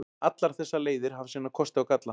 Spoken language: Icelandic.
Allar þessar leiðir hafa sína kosti og galla.